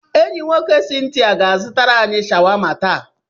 Enyi nwoke Cynthia ga-azụtara anyị shawama taa.